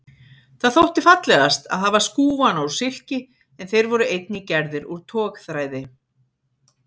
Það þótti fallegast að hafa skúfana úr silki en þeir voru einnig gerðir úr togþræði.